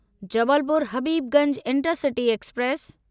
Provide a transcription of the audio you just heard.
Jabalpur Habibganj intercity express